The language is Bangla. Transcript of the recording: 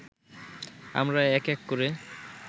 আমরা এক এক করে